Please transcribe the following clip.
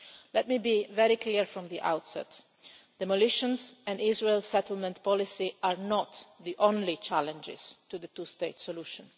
Let me be very clear from the outset. Demolitions and Israel's settlement policy are not the only challenges to the two state solution.